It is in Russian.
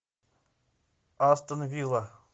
астон вилла